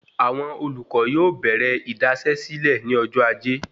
Àwọn olùkọ yóò bèrè idasesile ní ọjọ ajé